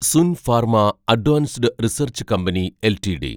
Sun Pharma Advanced Research Company LTD